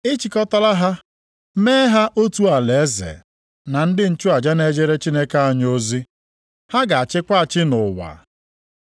Ị chịkọtaala ha, mee ha otu alaeze na ndị nchụaja na-ejere Chineke anyị ozi. Ha ga-achịkwa achị nʼụwa.”